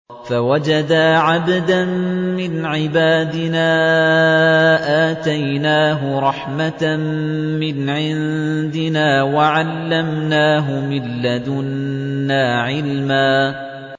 فَوَجَدَا عَبْدًا مِّنْ عِبَادِنَا آتَيْنَاهُ رَحْمَةً مِّنْ عِندِنَا وَعَلَّمْنَاهُ مِن لَّدُنَّا عِلْمًا